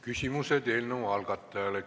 Küsimused eelnõu algatajale.